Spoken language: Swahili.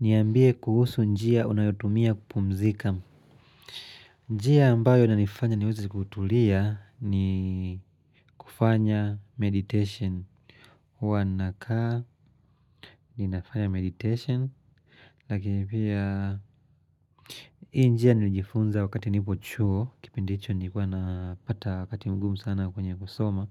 Niambie kuhusu njia unayotumia kupumzika. Njia ambayo ina nifanya niweze kutulia ni kufanya meditation. Huwa nakaa ni nafanya meditation. Lakini pia hii njia nilijifunza wakati nipo chuo. Kipindi hicho nilikuwa na pata wakati mgumu sana kwenye kusoma.